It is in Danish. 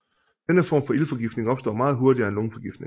Denne form for iltforgiftning opstår meget hurtigere end lungeforgiftning